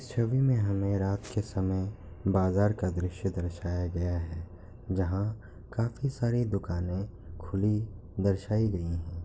इस छवि में हमें रात के समय बाजार का दृश्य दर्शाया गया है जहाँ काफी सारी दुकाने खुली दर्शाये गए हैं।